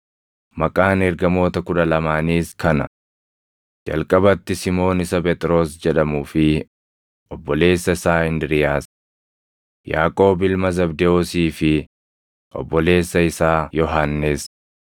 Maqaan ergamoota kudha lamaaniis kana: Jalqabatti Simoon isa Phexros jedhamuu fi obboleessa isaa Indiriiyaas, Yaaqoob ilma Zabdewoosii fi obboleessa isaa Yohannis,